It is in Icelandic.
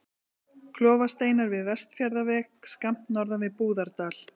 Klofasteinar við Vestfjarðaveg, skammt norðan við Búðardal.